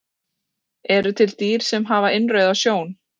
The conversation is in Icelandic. Eru til dýr sem hafa innrauða sjón?